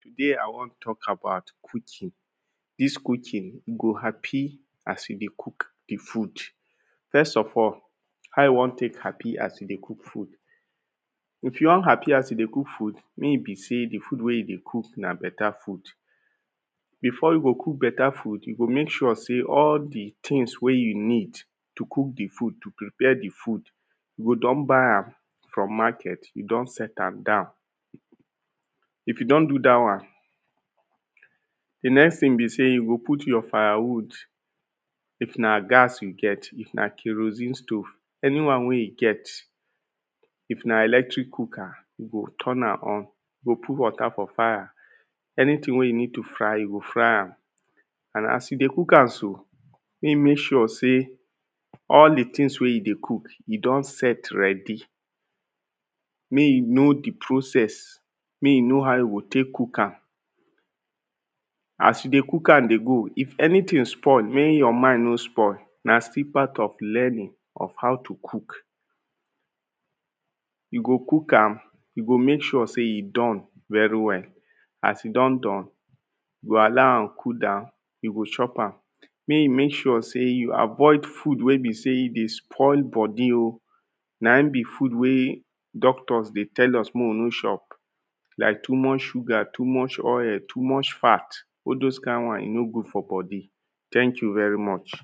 Today i wan talk about cooking. Dis cooking you go happy as you dey cook the food. First of all, how you wan take happy as you dey cook food? If you wan happy as you dey cook food mey e be sey the food wey you dey cook na better food before you go cook better food, you go make sure sey all the things wey you need to cook the food, to prepare the food you go don buy am from market. You don set am down. If you don do dat one. The next thing be sey, you go put your firewood if na gas you get, if na kerosine stove. Anyone wey you get. If na electric cooker, you go turn am on. You go put water for fire. Anything wey you need to fry, you go fry am. And as you dey cook am so, mey you make sure sey all de thing wey you dey cook, e don set ready. Mey you no the process. Mey you know hou you go take cook am. As you dey cook am dey go, if anything spoil mey your mind no spoil. Na still part of learning of how to cook You go cook am. You go make sure sey e done very well. As e don done, you go allow am cool down, you go chop am. Mey you make sure sey you avoid food wey be sey e dey spoil body oh. Na im be food wey doctors dey tell us mey we no chop. Like too much sugar, too much oil, too much fat. All dos kind one e no good for body. Thank you very much.